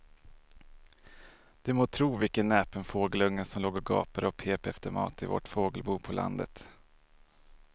Du må tro vilken näpen fågelunge som låg och gapade och pep efter mat i vårt fågelbo på landet.